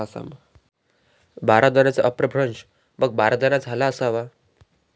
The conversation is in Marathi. बारादानाचा अपभ्रंश मग बारदाना झाला असावा.